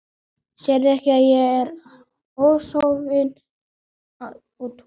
Sérðu ekki að ég er ósofin á túr.